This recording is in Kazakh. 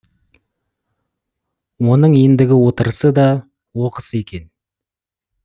оның ендігі отырысы да оқыс екен